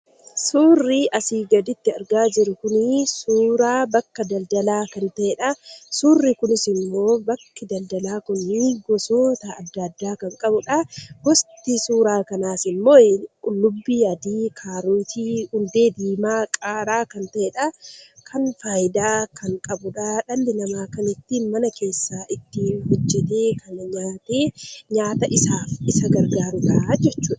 Suurri asii gaditti argaa jirru kun suuraa bakka daldalaa kan ta'edha. Suurri kunisimmoo bakki daldalaa kun gosoota adda addaa kan qabudha. Gosti suuraa kanaas immoo qullubbii adii, kaarotii, hundee diimaa, qaaraa kan ta'edha. Kan faayidaa qabudha dhalli namaa kan mana keessaa baay'ee nyaata isaaf isa gargaarudha jechuudha.